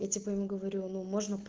я типа ему говорю ну можем